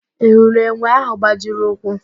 Ị hụrụ enwe ahụ gbajiri ụkwụ?